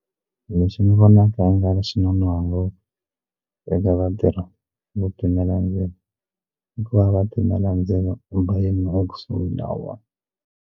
Lexi ni vonaka i nga ri xinonoha ngopfu eka vatirhi vo timela ndzilo i ku va va timela ndzilo .